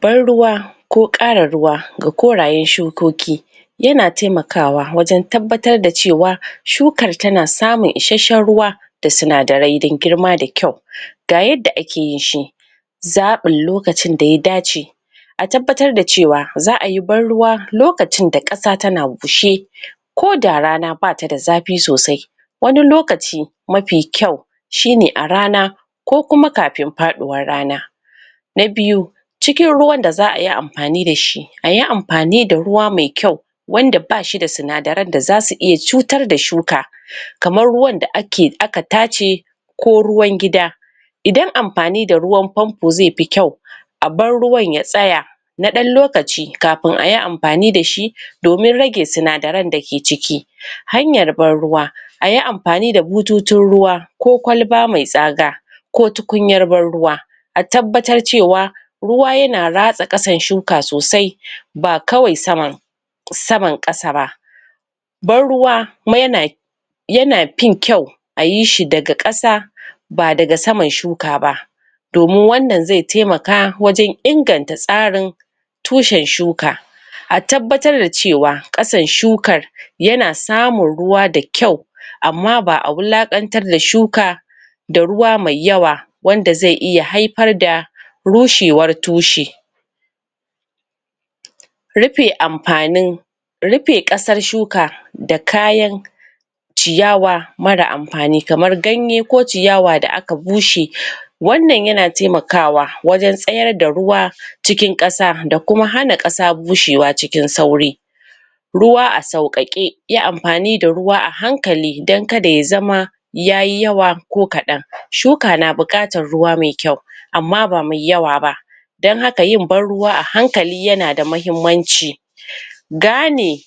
Ban ruwa ko ƙara ruwa ga korayen shukoki yana taimakawa wajan tabbatar da cewa shukar tana samun isheshen ruwa da sinadarai dan girma da kyau, ga yanda ake yin shi zaɓin lokacin da ya dace a tabbatar da cewa za'ayi ban ruwa lokacin da ƙasa na bushe ko da rana batada zafi sosai wani lokaci mafi kyau shine a rana ko kuma kafin faɗiwan rana na biyu cikin ruwan da za'a yi amfani dashi, ayi amfani da ruwa mai kyau wanda ba shi da sinadaran da zasu iya cutar da shuka kamar ruwar da aka tace ko ruwan gida idan amfani da ruwan fanfo ze fi kyau a bar ruwan ya tsaya na ɗan lokaci, kafin ayi amfani da shi domin rage sinadaran dake ciki hanyar ban ruwa, ayi amfani da butoci ruwa koh kwalba me tsaga ko tukunyar ban ruwa a tabbatar ce wa ruwa yana ratsa ƙasan shuka sosai ba kawai saman saman, ƙasa ba ban ruwa yana yana fin kyau ayi shi daga ƙasa, ba daga saman shuka ba domin wannan ze taimaka wajan inganta tsarin tushen shuka a tabbatar da cewa ƙasan shukan yana samun ruwa da kyau amma ba a wulakantar da shuka da ruwa me yawa wanda ze iya haifar da rushewar tushe rufe amfanin rufe ƙasar shuka da kayan ciyawa mara amfani kamar ganye ko ciyawa da aka bushe wannan yana taimakawa wajan tsayar da ruwa cikin ƙasa da kuma hana ƙasa bushewa cikin sauri ruwa a sauƙaƙe, yi amfani da ruwa a hankali dan kada ya zama yayi yawa, ko ƙadan, shuka na buƙatan ruwa me kyau amma ba me yawa ba dan haka yin ban ruwa a hankali yana da mahimmanci gane